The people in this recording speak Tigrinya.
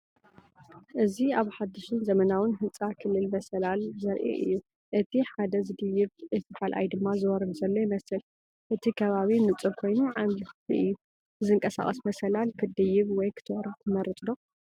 እዚ ኣብ ሓድሽን ዘመናውን ህንጻ ክልተ መሳልል ዘርኢ እዩ። እቲ ሓደ ዝድይብ እቲ ካልኣይ ድማ ዝወርድ ዘሎ ይመስል። እቲ ከባቢ ንጹር ኮይኑ ዓቢይ ክፍሊ እዩ። ብዝንቀሳቐስ መሳልል ክትድይብ ወይ ክትወርድ ትመርጽ ዶ?